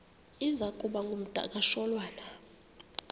iza kuba ngumdakasholwana